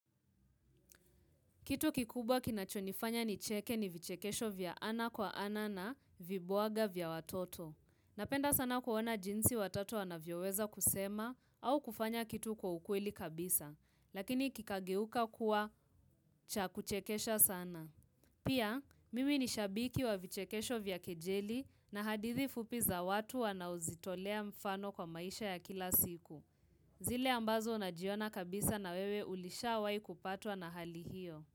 Kitu kikubwa kinachonifanya ni cheke ni vichekesho vya ana kwa ana na vibwaga vya watoto. Napenda sana kuona jinsi watoto anavyoweza kusema au kufanya kitu kwa ukweli kabisa. Lakini kikageuka kuwa cha kuchekesha sana. Pia, mimi ni shabiki wa vichekesho vya kejeli na hadithi fupi za watu wanaozitolea mfano kwa maisha ya kila siku. Zile ambazo najiona kabisa na wewe ulishawai kupatwa na hali hiyo.